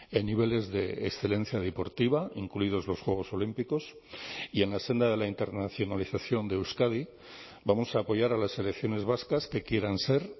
en niveles de excelencia deportiva incluidos los juegos olímpicos y en la senda de la internacionalización de euskadi vamos a apoyar a las selecciones vascas que quieran ser